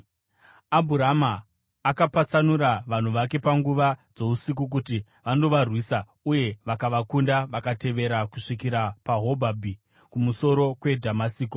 Abhurama akapatsanura vanhu vake panguva dzousiku kuti vandovarwisa, uye vakavakunda, vakavatevera kusvikira paHobhabhi, kumusoro kweDhamasiko.